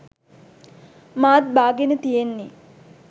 මාත් බාගෙන තියෙන්නේ